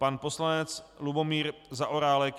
Pan poslanec Lubomír Zaorálek.